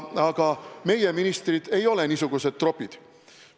Aga meie ministrid ei ole niisugused tropid.